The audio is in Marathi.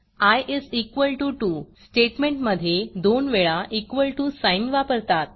आय इस इक्वॉल टीओ 2 स्टेटमेंटमधे दोन वेळा इक्वॉल टीओ साईन वापरतात